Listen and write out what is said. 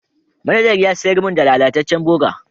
Manajar ya sayar mun da lallacecen burger.